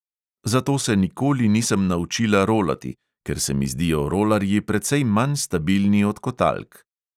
Zato se nikoli nisem naučila rolati, ker se mi zdijo rolarji precej manj stabilni od kotalk.